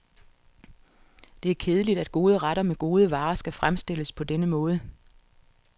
Det er kedeligt, at gode retter med gode varer skal fremstilles på denne måde.